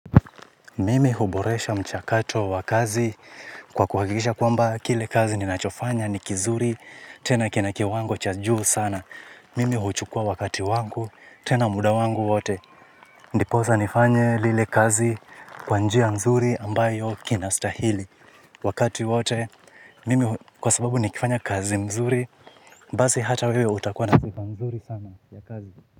Mimi huboresha mchakato wa kazi kwa kuhakikisha kwamba kile kazi ninachofanya nikizuri tena kinaki wango chajuu sana. Mimi huchukua wakati wangu tena muda wangu wote. Ndipoza nifanye lile kazi kwanjia nzuri ambayo kinastahili wakati wote. Mimi kwa sababu nikifanya kazi nzuri. Basi hata wewe utakua nasifa nzuri sana ya kazi.